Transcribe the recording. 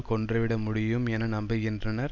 கொன்றுவிட முடியும் என நம்புகின்றனர்